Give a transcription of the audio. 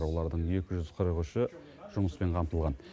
олардың екі жүз қырық үші жұмыспен қамтылған